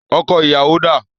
Ọkọ̀ ìyàwó dà?